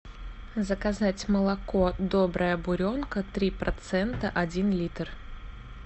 заказать молоко добрая буренка три процента один литр